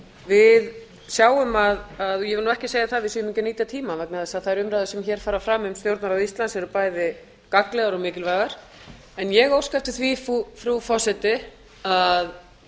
við sjáum að ég vil nú ekki segja það að við séum ekki að nýta tímann vegna þess að þær umræður sem hér fara fram um stjórnarráð íslands eru bæði gagnlegar og mikilvægar en ég óska eftir því frú forseti að